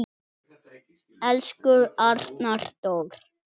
Elsku Arnar Dór.